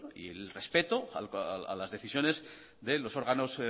y el respeto a las decisiones de los órganos